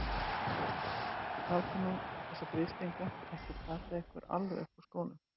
Látið nú þessa grislinga ekki plata ykkur alveg upp úr skónum!